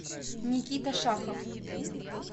никита шахов